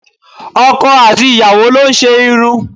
Ọkọ àti ìyàwó lo n ṣe irun